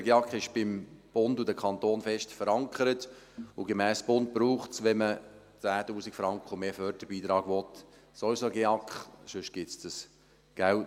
Der GEAK ist bei Bund und Kantonen fest verankert, und gemäss Bund braucht es, wenn man Förderbeiträge von 10 000 Franken und mehr will, sowieso einen GEAK, sonst gibt es kein Geld.